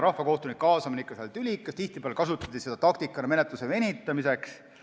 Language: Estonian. Rahvakohtunike kaasamine on ikka tülikas, tihtipeale kasutati seda taktikana menetluse venitamiseks.